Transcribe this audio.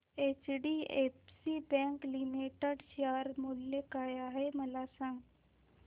HDFC bank limited share मूल्य काय आहे मला सांगा